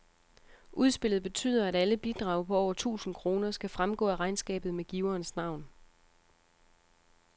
Udspillet betyder, at alle bidrag på over tusind kroner skal fremgå af regnskabet med giverens navn.